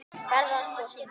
Ferðast og syngja.